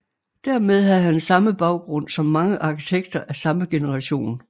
Dermed havde han samme baggrund som mange arkitekter af samme generation